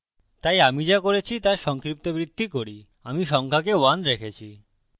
তাই আমি so করেছি so সংক্ষিপ্তবৃত্তি করি আমি সংখ্যাকে 1 রেখেছি